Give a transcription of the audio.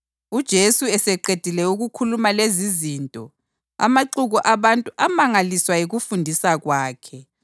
UJesu eseqedile ukukhuluma lezizinto, amaxuku abantu amangaliswa yikufundisa kwakhe,